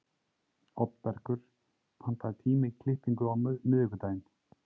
Oddbergur, pantaðu tíma í klippingu á miðvikudaginn.